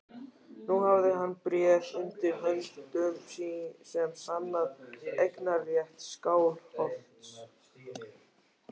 Nú hafði hann bréf undir höndum sem sannaði eignarrétt Skálholts.